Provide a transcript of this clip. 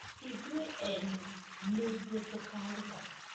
Ithuĩ ene nĩithuĩ tũkaruga